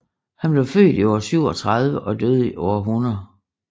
Han blev født i år 37 og døde i år 100